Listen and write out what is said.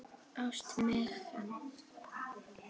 Ást, Megan.